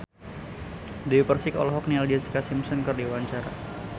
Dewi Persik olohok ningali Jessica Simpson keur diwawancara